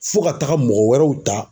Fo ka taga mɔgɔ wɛrɛw ta